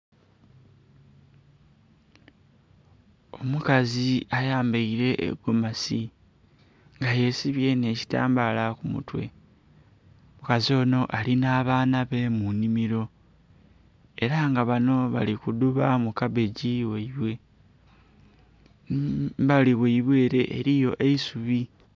Omukazi ayambaile egomasi nga yesibye nh'ekitambaala ku mutwe. Omukazi onho ali nh'abaana be mu nnhimilo. Ela nga bano bali kudhuba mu kabbegi ghaibwe. Embali ghaibwe ele eliyo eisubi.